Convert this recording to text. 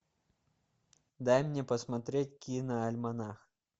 дай мне посмотреть киноальманах